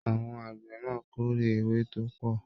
Àwọn àgbẹ náà k'ore ewé tópọ̀.